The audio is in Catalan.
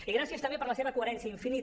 i gràcies també per la seva coherència infinita